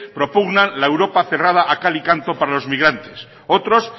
propugnan la europa cerrada a cal y canto para los inmigrantes otros